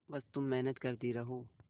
बस तुम मेहनत करती रहो